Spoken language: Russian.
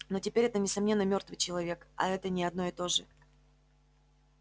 но теперь это несомненно мёртвый человек а это не одно и то же